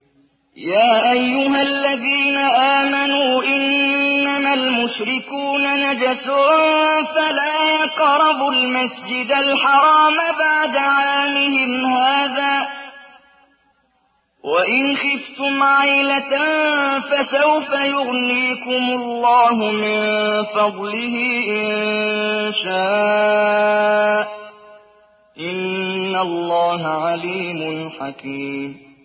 يَا أَيُّهَا الَّذِينَ آمَنُوا إِنَّمَا الْمُشْرِكُونَ نَجَسٌ فَلَا يَقْرَبُوا الْمَسْجِدَ الْحَرَامَ بَعْدَ عَامِهِمْ هَٰذَا ۚ وَإِنْ خِفْتُمْ عَيْلَةً فَسَوْفَ يُغْنِيكُمُ اللَّهُ مِن فَضْلِهِ إِن شَاءَ ۚ إِنَّ اللَّهَ عَلِيمٌ حَكِيمٌ